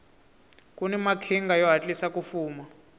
kuni maqhinga yo hatlisa ku fuma